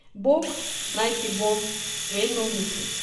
Bog naj ti bo vedno v mislih.